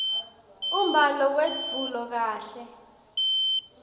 umbhalo wetfulwe kahle